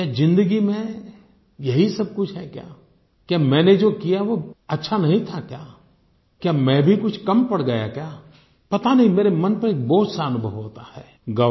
क्या ज़िंदगी में यही सब कुछ है क्या क्या मैंने जो किया वो अच्छा नहीं था क्या क्या मैं भी कुछ कम पड़ गया क्या पता नहीं मेरे मन पर एक बोझ सा अनुभव होता है